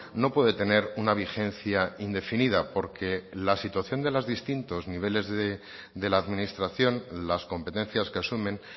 no puede tener una vigencia indefinida porque la situación de los distintos niveles de la administración las competencias que asumen